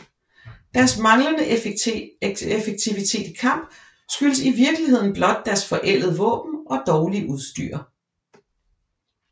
Deres manglende effektivitet i kamp skyldtes i virkeligheden blot deres forældede våben og dårlige udstyr